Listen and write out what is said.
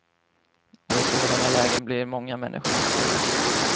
Och i sådana lägen blir många människor missnöjda.